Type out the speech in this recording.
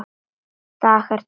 DAGAR TIL STEFNU.